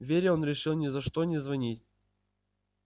вере он решил ни за что не звонить